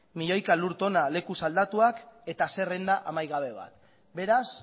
milioika lur tona lekuz aldatuak eta zerrenda amaigabe bat beraz